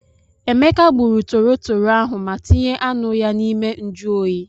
Emeka gburu torotoro ahụ ma tinye anụ ya n'ime njụ oyi.